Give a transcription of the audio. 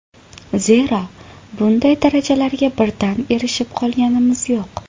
Zero, bunday darajalarga birdan erishib qolganimiz yo‘q.